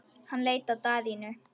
Hann leit á Daðínu.